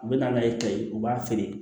U bɛ na n'a ye kayi u b'a feere